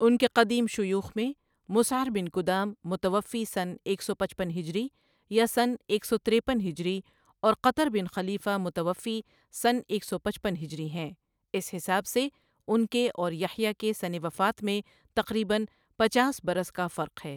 ان کے قدیم شیوخ میں مسعر بن کدام متوفی سنہ ایک سو پچپن ہجری یا سنہ ایک سو تِریپن ہجری اور قطر بن خلیفہ متوفی سنہ ایک سو پچپن ہجری ہیں، اس حساب سے ان کے اور یحییٰ کے سنہ وفات میں تقریباً پچاس برس کا فرق ہے۔